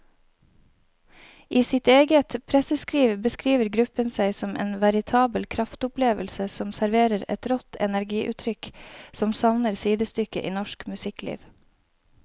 I sitt eget presseskriv beskriver gruppen seg som en veritabel kraftopplevelse som serverer et rått energiutrykk som savner sidestykke i norsk musikkliv.